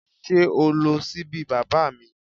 Sé o lo síbí baba mi?